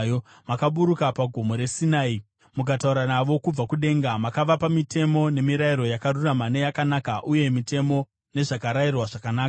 “Makaburuka paGomo reSinai, mukataura navo kubva kudenga. Makavapa mitemo nemirayiro yakarurama neyakanaka, uye mitemo nezvakarayirwa zvakanaka.